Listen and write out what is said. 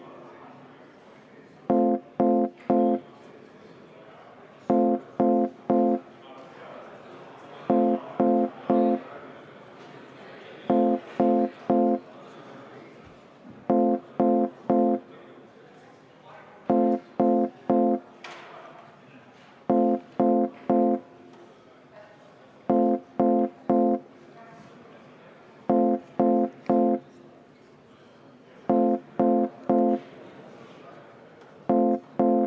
Panen hääletusele Sotsiaaldemokraatliku Erakonna fraktsiooni ettepaneku lükata esimesel lugemisel tagasi ravimiseaduse muutmise seaduse eelnõu 139.